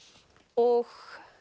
og